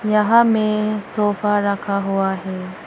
यहां में सोफा रखा हुआ है।